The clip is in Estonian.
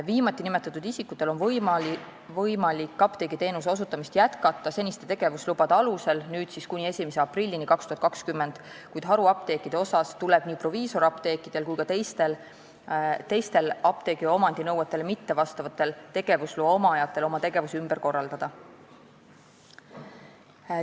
Viimati nimetatutel on võimalik apteegiteenuse osutamist jätkata seniste tegevuslubade alusel, nüüd siis kuni 1. aprillini 2020, kuid haruapteekide puhul tuleb nii proviisorapteekidel kui ka teistel apteegi omandinõuetele mitte vastava tegevusloa omajatel oma tegevus ümber korraldada.